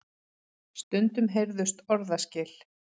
Stundum heyrðust orðaskil.